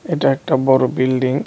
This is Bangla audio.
এটা একটা বড় বিল্ডিং .